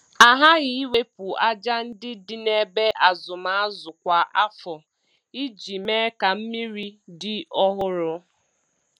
A ghaghị iwepụ aja ndị dị na ebe azụm azụ kwa afọ iji mee ka mmiri dị ọhụrụ.